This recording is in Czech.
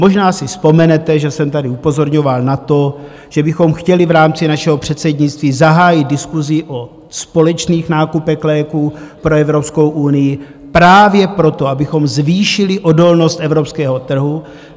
Možná si vzpomenete, že jsem tady upozorňoval na to, že bychom chtěli v rámci našeho předsednictví zahájit diskusi o společných nákupech léků pro Evropskou unii právě proto, abychom zvýšili odolnost evropského trhu.